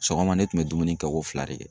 Sɔgɔma ne kun bɛ dumuni kɛ ko fila de kɛ.